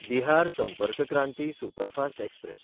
Bihar Sampark Kranti superfast express